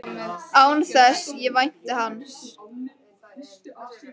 Án þess að ég vænti hans.